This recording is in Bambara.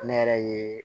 Ne yɛrɛ ye